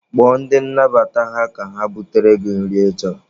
Kpọọ ndị nnabata ha ka ha butere gị nri ị chọrọ.